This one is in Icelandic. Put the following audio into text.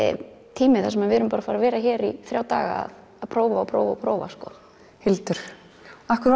tími þar sem við erum bara að fara að vera hér í þrjá daga að prófa og prófa og prófa Hildur af hverju